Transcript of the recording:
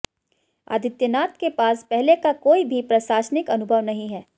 आदित्यनाथ के पास पहले का कोई भी प्रशासनिक अनुभव नहीं है